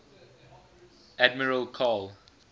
admiral karl